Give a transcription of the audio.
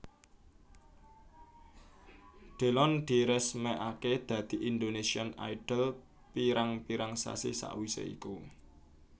Delon diresmékaké dadi Indonesian Idol pirang pirang sasi sawisé iku